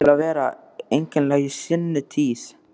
Þau áttu það til að vera einkennileg í seinni tíð.